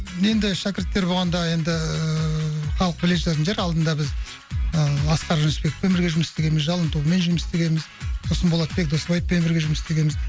енді шәкірттер болғанда енді халық біле жататын шығар алдында біз ыыы асқар жүнісбекпен бірге жұмыс істегенбіз жалын тобымен жұмыс істегенбіз сосын болатбек досбаевпен бірге жұмыс істегенбіз